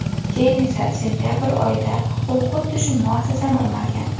Keyin esa sentabr oyida u xuddi shu muassasani o‘margan.